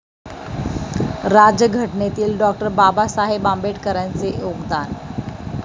राज्यघटनेतील डॉ. बाबासाहेब आंबेडकरांचे योगदान